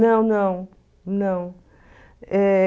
Não, não, não. É...